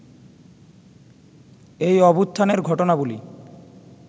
এই অভ্যুত্থানের ঘটনাবলী